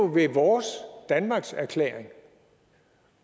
ved vores danmarkserklæring